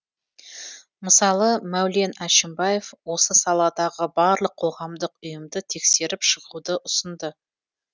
мысалы мәулен әшімбаев осы саладағы барлық қоғамдық ұйымды тексеріп шығуды ұсынды